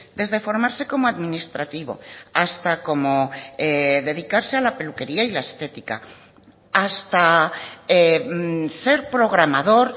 desde formarse como administrativo hasta como dedicarse a la peluquería y la estética hasta ser programador